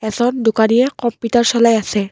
য'ত দোকানীয়ে কম্পিউটাৰ চলাই আছে।